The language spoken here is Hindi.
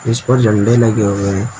इस पर झंडा लगे हुए हैं।